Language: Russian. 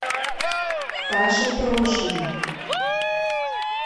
саше прошину